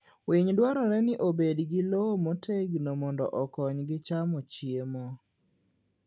Winy dwarore ni obed gi lowo motegno mondo okonygi chamo chiemo.